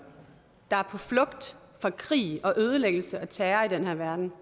der er på flugt fra krig og ødelæggelse og terror i den her verden